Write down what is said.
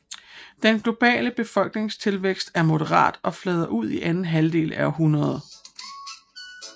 Den globale befolkningstilvækst er moderat og flader ud i anden halvdel af århundredet